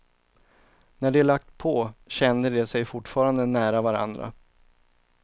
När de lagt på kände de sig fortfarande nära varandra.